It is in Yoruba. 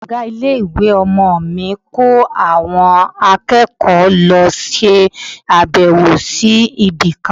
Ọ̀gá ilé-ìwé ọmọ mi ko àwọn akẹ́kọ̀ọ́ lọ ṣe abewo sí ibi kan.